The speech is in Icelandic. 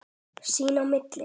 Sín á milli.